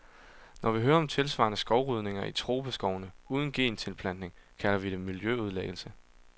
Når vi hører om tilsvarende skovrydninger i tropeskovene uden gentilplantning, kalder vi det miljøødelæggelse.